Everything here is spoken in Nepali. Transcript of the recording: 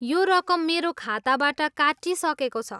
यो रकम मेरो खाताबाट काटिइसकेको छ।